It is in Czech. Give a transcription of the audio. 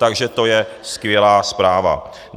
Takže to je skvělá zpráva.